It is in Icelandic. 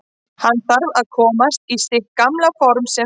Hann þarf bara að komast í sitt gamla for sem fyrst.